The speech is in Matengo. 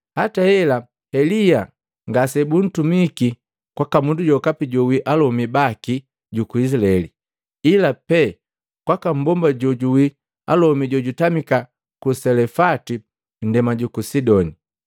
Hata hela Elia ngasebuntumiki kwaka mundu jokapi joawii alomi baki juku Izilaeli, ila pe kwaka mbomba joawii alomi jojutamika ku Selefati nndema juku Sidoni.